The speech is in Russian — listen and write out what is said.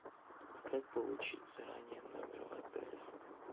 как получить заранее номер в отеле